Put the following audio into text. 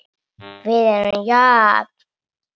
Við erum jöfn.